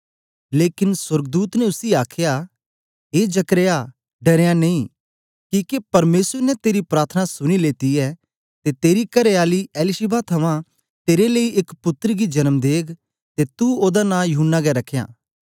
लेकन सोर्गदूत ने उसी आखया ए जकर्याह डरेंयां नेई किके परमेसर ने तेरी प्रार्थना सुनी लेती ऐ ते तेरी करेआली एलीशिबा थमां तेरे लेई एक पुत्तर दी जन्म देग ते तू ओदा नां यूहन्ना गै रखयां